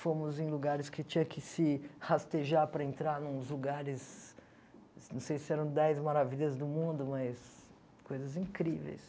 Fomos em lugares que tinha que se rastejar para entrar, nos lugares... Não sei se eram dez maravilhas do mundo, mas... Coisas incríveis.